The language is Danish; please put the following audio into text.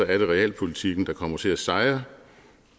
er realpolitikken der kommer til at sejre